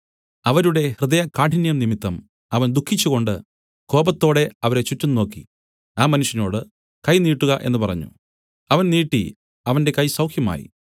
അവരുടെ ഹൃദയകാഠിന്യം നിമിത്തം അവൻ ദുഃഖിച്ചുകൊണ്ട് കോപത്തോടെ അവരെ ചുറ്റും നോക്കി ആ മനുഷ്യനോടു കൈ നീട്ടുക എന്നു പറഞ്ഞു അവൻ നീട്ടി അവന്റെ കൈ സൗഖ്യമായി